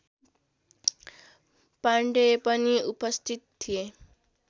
पाण्डेय पनि उपस्थित थिए